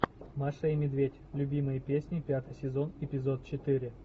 маша и медведь любимые песни пятый сезон эпизод четыре